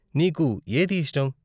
నీకు ఏది ఇష్టం?